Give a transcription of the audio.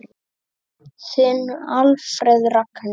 Þinn Alfreð Ragnar.